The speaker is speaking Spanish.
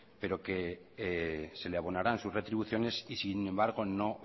pero que se le abonarán sus retribuciones y sin embargo no